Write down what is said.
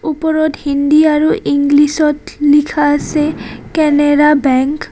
ওপৰত হিন্দী আৰু ইংলিছ ত লিখা আছে কেনাৰা বেংক .